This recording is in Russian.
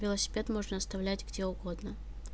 велосипед можно оставлять где угодно